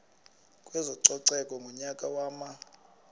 kwezococeko ngonyaka wama